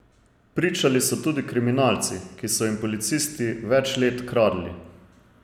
Pričali so tudi kriminalci, ki so jim policisti več let kradli.